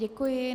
Děkuji.